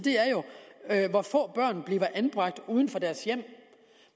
er jo hvor få børn der bliver anbragt uden for deres hjem